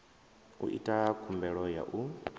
u ita khumbelo ya u